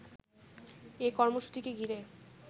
এ কর্মসূচিকে ঘিরে